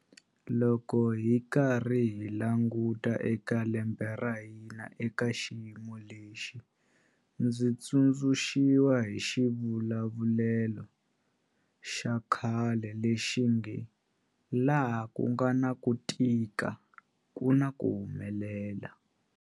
Loko hi karhi hi languta eka lembe ra hina eka xiyimo lexi, ndzi tsundzuxiwa hi xivulavulelo xa khale lexi nge 'laha ku nga na ku tika ku na ku humelela'.